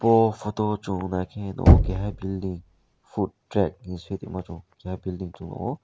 bo photo o chung naikhe nuko keha building food track hin swi tongmo chung nuko keha building chung nuko.